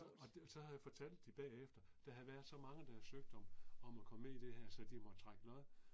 Og så fortalte de bagefter, der havde været så mange der havde søgt om, om at komme med i det her så måtte trække lod